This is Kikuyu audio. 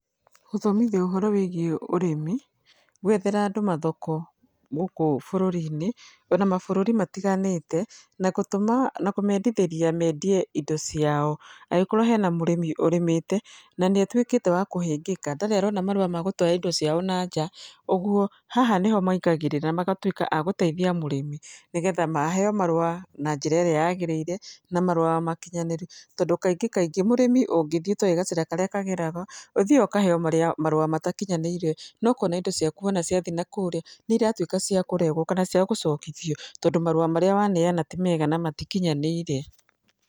Gũthomithia ũhoro wĩgiĩ ũrĩmi, gwethera andũ mathoko gũkũ bũrũri-inĩ o na mabũrũri matiganĩte, na gũtũma na kũmeendithĩria meendie indo ciao. Angĩkorwo hena mũrĩmi ũrĩmĩte na nĩ atuĩkĩte wa kũhĩngĩka, ndarĩ arona marũa ma gũtwara indo ciao nanja, ũguo, haha nĩ ho maingagĩrĩra, magatuĩka a gũteithia mũrĩmi nĩgetha maheo marũa na njĩra ĩrĩa yaagĩrĩire, na marũa makinyanĩru. Tondũ kaingĩkaingĩ, mũrĩmi ũngĩthiĩ ũtoũĩ gacĩra karĩa kageragwo, ũthiaga ũkaheo marĩa marũa matakinyanĩire, na ũkona indo ciaku wona ciathiĩ na kũria nĩ iratuĩka cia kũregwo kana cia gũcokithio tondũ marũa marĩa waneana ti mega na matikinyanĩire.